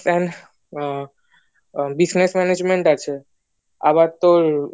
and ah business management আছে আবার তোর